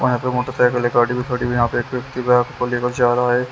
और यहाँ पे मोटरसाइकल गाड़ी भी खड़ी हुई है यहाँ पे एक्टिवा को लेकर जा रहा है।